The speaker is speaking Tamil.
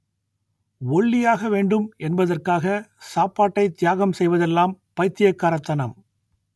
ஒல்லியாக வேண்டும் என்பதற்காக சாப்பாட்டை தியாகம் செய்வதெல்லாம் பைத்தியக்காரத்தனம்